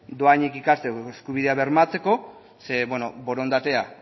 dohainik ikasteko eskubidea bermatzeko zeren beno borondatea